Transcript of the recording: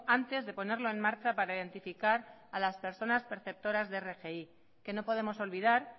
antes de ponerlo en marcha para identificar a las personas perceptoras de rgi que no podemos olvidar